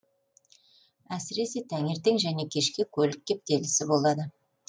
әсіресе таңертең және кешке көлік кептелісі болады